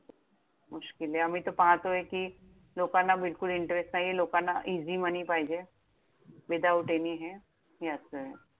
मुश्किल आहे. आम्ही तर पाहतोय कि, लोकांना बिलकुल interest नाहीये, लोकांना easy money पाहिजे. without any हे, हे असंय!